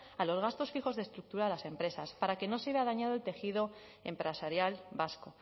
a los gastos fijos de estructura de las empresas para que no se vea dañado el tejido empresarial vasco